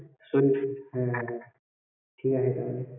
হ্যাঁ ঠিক আছে তাহলে